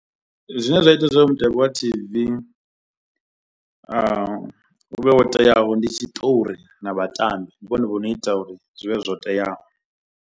Zwine zwa ita zwo mutambi wa T_V u vhe wo teaho ndi tshiṱori na vhatambi ndi vhone vho no ita uri zwi vhe zwo teaho.